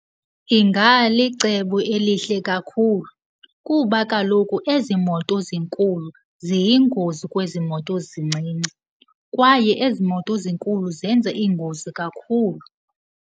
Ingalicebo elihle kakhulu kuba kaloku ezi moto zinkulu ziyingozi kwezi moto zincinci kwaye ezi moto zinkulu zenza iingozi kakhulu.